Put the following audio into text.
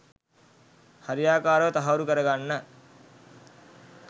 හරියාකාරව තහවුරු කර ගන්න